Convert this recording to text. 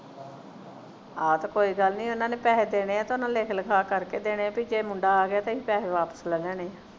ਆਵੇ ਤੇ ਕੋਈ ਗਲ ਨਹੀਂ ਉਹਨਾਂ ਨੇ ਪੈਸੇ ਦੇਣੇ ਆ ਤੇ ਉਹਨਾਂ ਨੇ ਲਿਖ ਲਿਖਾ ਕਰ ਕੇ ਦੇਣੀਆਂ ਪੀ ਜੇ ਮੁੰਡਾ ਆ ਗਿਆ ਤੇ ਅਸੀਂ ਪੈਸੇ ਵਾਪਸ ਲੈ ਲੈਨੇ ਆਂ